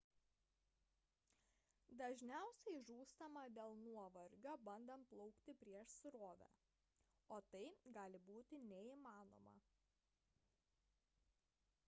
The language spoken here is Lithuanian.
dažniausia žūstama dėl nuovargio bandant plaukti prieš srovę o tai gali būti neįmanoma